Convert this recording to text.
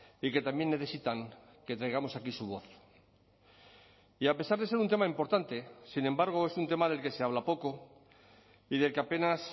y que también necesitan que traigamos aquí su voz y a pesar de ser un tema importante sin embargo es un tema del que se habla poco y del que apenas